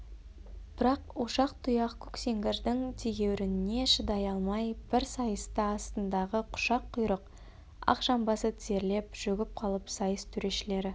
бірақ ошақ тұяқ көксеңгірдің тегеурініне шыдай алмай бір сайыста астындағы құшақ құйрық ақжамбасы тізерлеп шөгіп қалып сайыс төрешілері